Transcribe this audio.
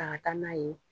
Ta ka taa n'a ye